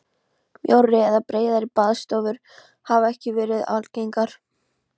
Mjórri eða breiðari baðstofur hafa ekki verið algengar.